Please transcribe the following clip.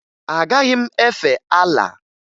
Agaghị m efe Alaa